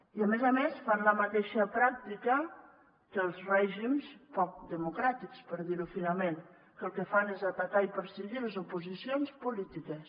i a més a més fan la mateixa pràctica que els règims poc democràtics per dir ho finament que el que fan és atacar i perseguir les oposicions polítiques